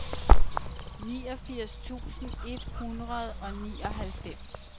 niogfirs tusind et hundrede og nioghalvfems